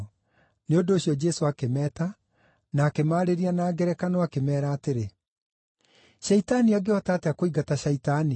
Nĩ ũndũ ũcio Jesũ akĩmeeta, na akĩmarĩria na ngerekano, akĩmeera atĩrĩ: “Shaitani angĩhota atĩa kũingata Shaitani?